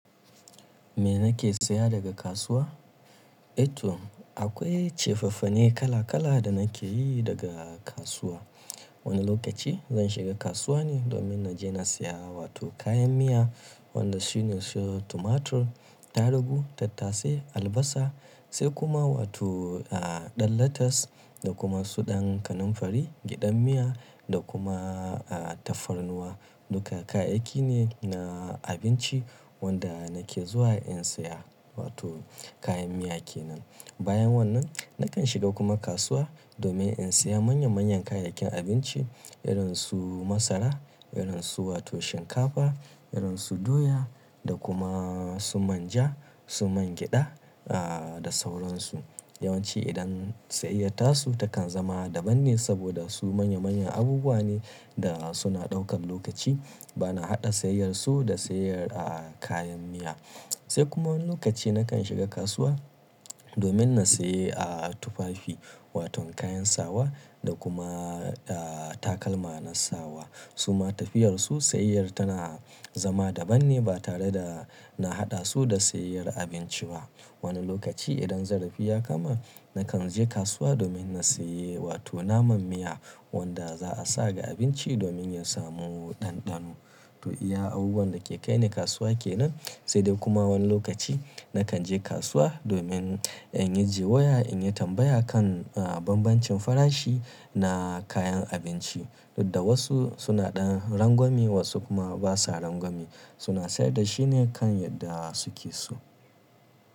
Me nake saya daga kasuwa? Eh to akwai cefafane kala kala da nake yi daga kasuwa. Wani lokaci zan shiga kasuwa ne domin na je na saya wato kayan miya wanda su ne su tumatur, tarugu, tattasai, albasa sai kuma wato, ah, ɗan lettuce da kuma su ɗan kanamfari, gyaɗar miya da kuma, ah, tafarnuwa. Duka kayayyaki ne na abinci wanda nake zuwa in saya wato kayan miya kenan. Bayan wannan nakan shiga kuma kasuwa domin in saya manya manyan kayayyakin abinci irin su masara, irin su wato shinkafa, irin su doya da kuma su manja, su man gyada, ah, da sauran su. Yawanci idan sayayyata su takan zama daban ne saboda su manya manyan abubuwa ne da suna ɗaukar lokaci. Ba na haɗa sayayyar su da sayayyar, ah, kayan miya. Sai kuma wani lokaci nakan shiga kasuwa domin na saye, ah, tufafi wato kayan sawa da kuma, ah, takalma na sawa. Su ma tafiyar su sayayyar tana zama daban ne ba tare da na haɗa su da sayayyar abinci ba. Wani lokaci idan zarafi ya kama nakan je kasuwa domin na saye wato naman miya wanda za a sa ga abinci domin ya samu ɗanɗano. To iya abubuwan da ke kaini kasuwa kenan. Sai dai kuma wani lokaci nakan je kasuwa domin in yi jiyya in yi tambaya kan, ah, bambancin farashi na kayan abinci. Dukka wasu suna ɗa rangwame wasu kuma basa rangwame suna sayar da shi ne kan yadda su ke so.